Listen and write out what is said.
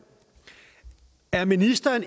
at ministeren